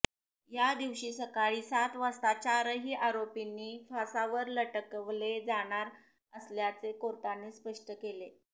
या दिवशी सकाळी सात वाजता चारही आरोपींनी फासावर लटकवले जाणार असल्याचे कोर्टाने स्पष्ट केले